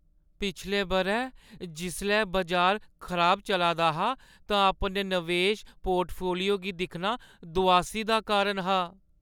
पिछले बʼरै जिसलै बजार खराब चला दा हा तां अपने नवेश पोर्टफोलियो गी दिक्खना दुआसी दा कारण हा।